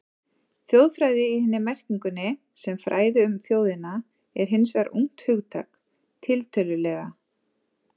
Þjóðfræði í hinni merkingunni, sem fræði um þjóðina, er hins vegar ungt hugtak, tiltölulega.